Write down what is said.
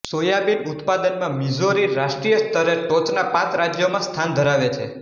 soybean ઉત્પાદનમાં Missouri રાષ્ટ્રીય સ્તરે ટોચના પાંચ રાજ્યોમાં સ્થાન ધરાવે છે